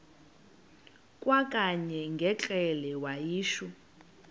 kwakanye ngekrele wayishu